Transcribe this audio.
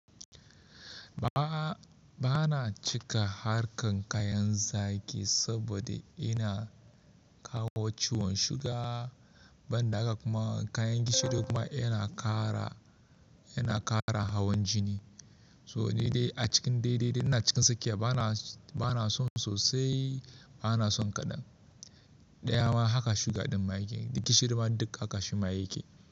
Ba, bana cika harkar kayan zaki saboda yana kawo ciwon suga, ban da haka kuma kayan gishiri kuma yana ƙara, yana ƙara hawan jini. To nidai a cikin dai dai dai ina cikin tsakiya bana, bana son sosai, bana son kaɗan. Ɗaya ma haka suga ɗin ma yake, gishiri ma duk haka shi ma yake.